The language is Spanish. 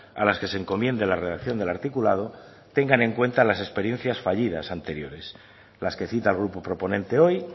a las que se encomiende la redacción del articulado tengan en cuenta las experiencias fallidas anteriores las que cita el grupo proponente hoy